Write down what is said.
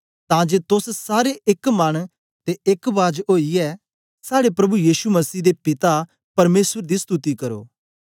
तां जे तोस सारे एक मन ते एक बाज ओईयै साड़े प्रभु यीशु मसीह दे पिता परमेसर दी स्तुति करो